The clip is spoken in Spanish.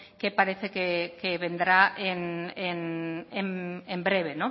que parece que vendrá en breve